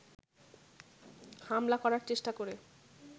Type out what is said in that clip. হামলা করার চেষ্টা করে